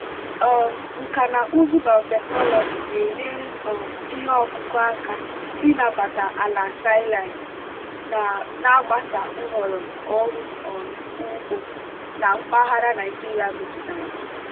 um nkà na ụzụ biotechnology na-enyere um ihe ọkụkụ aka ịnabata ala saline na-agbasa nhọrọ ọrụ um ugbo na mpaghara naijiria metụtara.